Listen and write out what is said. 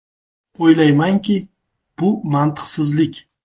O‘ylaymanki, bu mantiqsizlik.